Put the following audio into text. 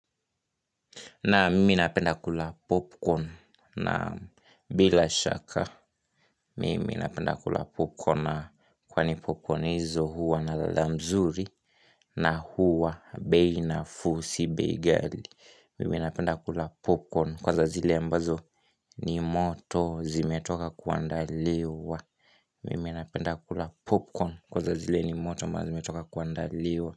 Naam mimi napenda kula popcorn na bila shaka mimi napenda kula popcorn kwa ni popcorn hizo huwa na lala mzuri na huwa bei nafuu si bei ghali. Mimi napenda kula popcorn kwanza zile ambazo ni moto zimetoka kuandaliwa. Mimi napenda kula popcorn kwa za zile ni moto mazimetoka kuandaliwa.